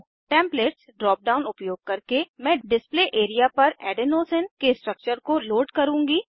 templates drop down उपयोग करके मैं डिस्प्ले एरिया पर एडेनोसिन के स्ट्रक्चर को लोड करुँगी